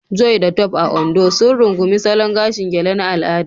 Joy da Tope, a Ondo, sun rungumi salon gashin gele na al'ada